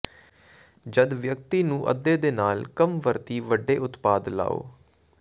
ਜਦ ਵਿਅਕਤੀ ਨੂੰ ਅੱਧੇ ਦੇ ਨਾਲ ਕੰਮ ਵਰਤੀ ਵੱਡੇ ਉਤਪਾਦ ਲਾਓ